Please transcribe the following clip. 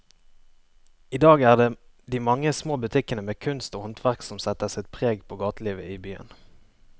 I dag er det de mange små butikkene med kunst og håndverk som setter sitt preg på gatelivet i byen.